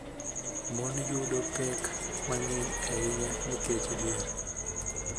Mon yudo pek mang�eny ahinya nikech dhier